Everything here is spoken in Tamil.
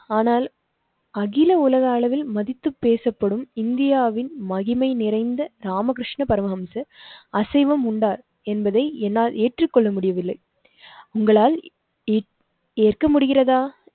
ஆனால் அகில உலக அளவில் மதித்து பேசப்படும் இந்தியாவின் மகிமை நிறைந்த ராமகிருஷ்ணா பரமஹம்சர் அசைவம் உண்டார் என்பதை என்னால் ஏற்றுக்கொள்ள முடியவில்லை, உங்களால் ஏற்க முடிகிறதா?